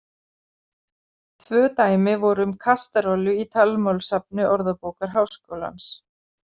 Tvö dæmi voru um kasterollu í talmálssafni Orðabókar Háskólans.